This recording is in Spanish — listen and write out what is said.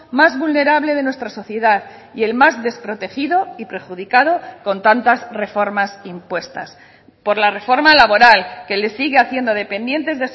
más vulnerable de nuestra sociedad y el más desprotegido y perjudicado con tantas reformas impuestas por la reforma laboral que le sigue haciendo dependientes